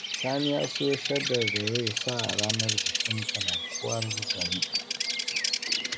Sani ya siyo shaddar da zai sa ranar bikin kalankuwar garinsu